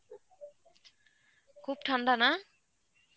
খুব ঠান্ডা না?